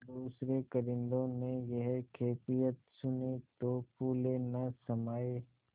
दूसरें कारिंदों ने यह कैफियत सुनी तो फूले न समाये